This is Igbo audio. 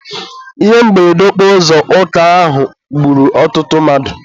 Ihe mberede okporo ụzọ Ọka ahụ gburu ọtụtụ mmadụ.